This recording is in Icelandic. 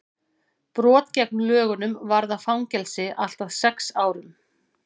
brot gegn lögunum varða fangelsi allt að sex árum